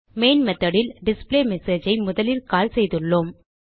main methodல் display message ஐ முதலில் கால் செய்துள்ளோம்